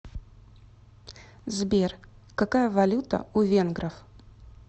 сбер какая валюта у венгров